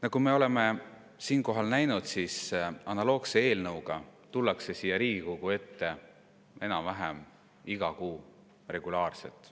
Nagu me oleme siinkohal näinud, analoogse eelnõuga tullakse siia Riigikogu ette enam-vähem iga kuu, regulaarselt.